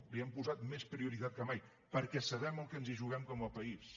li hem posat més prioritat que mai perquè sabem el que ens hi juguem com a país